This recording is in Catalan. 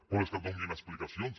però que et donin explicacions